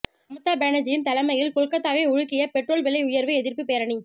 மமதா பானர்ஜி தலைமையில் கொல்கத்தாவை உலுக்கிய பெட்ரோல் விலை உயர்வு எதிர்ப்பு பேரணி